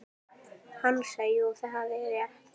Hansa: Jú, það er rétt.